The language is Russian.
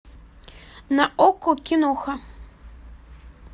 на окко киноха